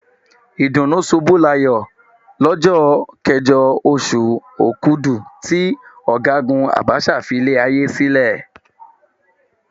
Ìdùnnúṣubúláyọ̀ lọ́jọ́ kẹjọ, oṣù Òkudù tí Ọ̀gágùn Abacha filé ayé sílẹ̀.